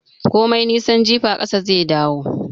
Komai nisan jifa, ƙasa zai dawo